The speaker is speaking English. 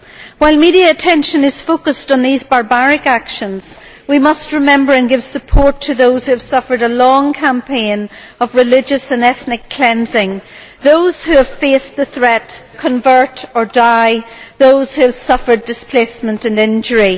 While media attention is focused on these barbaric actions, we must remember and give support to those who have suffered a long campaign of religious and ethnic cleansing, those who have faced the threat convert or die', and those who have suffered displacement and injury.